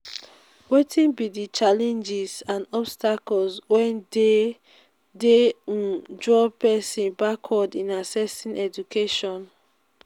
wetin be di challenges and obstacles wey dey dey um draw pesin backward in accessing education?